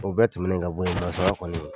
O bɛɛ tɛmɛnen ka bɔ yennɔ sa, a y'a fɔ ne